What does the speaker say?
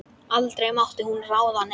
Aldrei mátti hún ráða neinu.